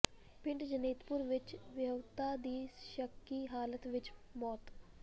ਪਿੰਡ ਜਨੇਤਪੁਰ ਵਿੱਚ ਵਿਆਹੁਤਾ ਦੀ ਸ਼ੱਕੀ ਹਾਲਤ ਵਿੱਚ ਮੌਤ